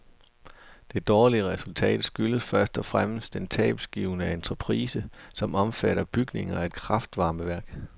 Det dårlige resultat skyldes først og fremmest den tabsgivende entreprise, som omfatter bygningen af et kraftvarmeværk.